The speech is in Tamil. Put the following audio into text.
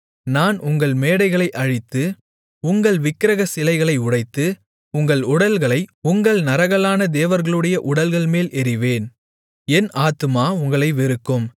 நான் உங்கள் மேடைகளை அழித்து உங்கள் விக்கிரகச் சிலைகளை உடைத்து உங்கள் உடல்களை உங்கள் நரகலான தேவர்களுடைய உடல்கள்மேல் எறிவேன் என் ஆத்துமா உங்களை வெறுக்கும்